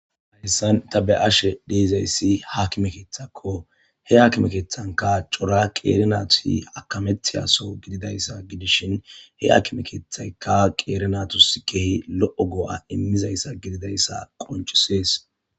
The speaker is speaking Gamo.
Hayssan ta be ashe deizayssi haakime keeththakko he haakime keethanka cora qeeri nati akamethiyaso gididayssa gidishin he hakimekeethaykka qeerinatus kehi lo7o goo7a immizayssa gididayssa qoncisees.